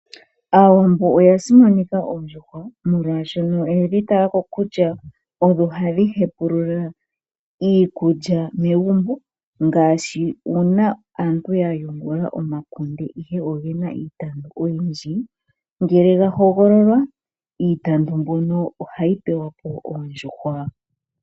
Aawambo oyasimaneka oondjuhwa molwasho oyedhi talako kutya odho hadhi hepulula iikulya megumbo ngashi una aantu yayungula omakunde ihe ongena iitandu oyindji ngele gahogololwa iitandu mbyono ohayipewapo oondjuhwa .